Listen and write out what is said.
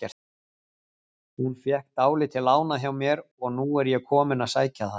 Hún fékk dálítið lánað hjá mér og nú er ég kominn að sækja það.